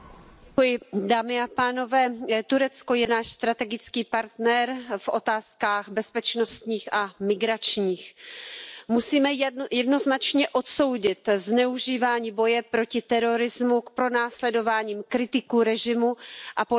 Pane předsedající, Turecko je náš strategický partner v otázkách bezpečnostních a migračních. Musíme jednoznačně odsoudit zneužívání boje proti terorismu k pronásledování kritiků režimu a politické opozice.